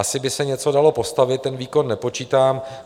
Asi by se něco dalo postavit, ten výkon nepočítám.